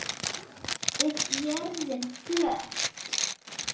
Er jörðin flöt?